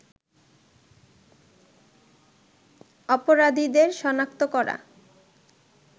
অপরাধীদের শনাক্ত করা